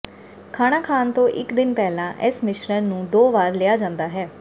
ਖਾਣਾ ਖਾਣ ਤੋਂ ਇੱਕ ਦਿਨ ਪਹਿਲਾਂ ਇਸ ਮਿਸ਼ਰਣ ਨੂੰ ਦੋ ਵਾਰ ਲਿਆ ਜਾਂਦਾ ਹੈ